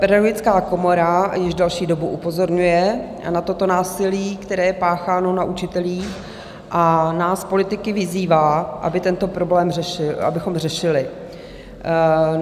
Pedagogická komora již delší dobu upozorňuje na toto násilí, které je pácháno na učitelích, a nás politiky vyzývá, abychom tento problém řešili.